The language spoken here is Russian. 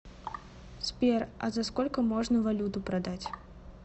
сбер а за сколько можно валюту продать